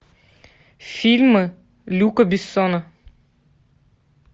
фильмы люка бессона